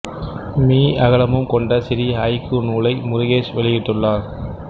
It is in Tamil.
மீ அகலமும் கொண்ட சிறிய ஐக்கூ நூலை முருகேஷ் வெளியிட்டுள்ளார்